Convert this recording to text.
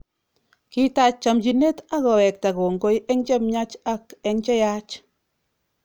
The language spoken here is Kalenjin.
Kitach chomchinet akowekta kongoi eng che miach ak eng cheyach